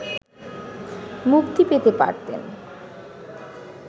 মুক্তি পেতে পারতেন